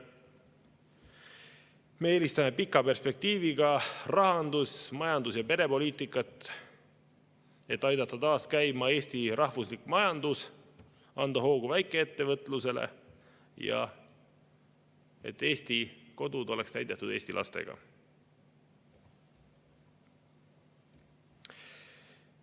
Me eelistame pika perspektiiviga rahandus‑, majandus‑ ja perepoliitikat, et aidata taas käima Eesti rahvuslik majandus ja anda hoogu väikeettevõtlusele, et Eesti kodud oleks täidetud eesti lastega.